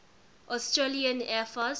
australian air force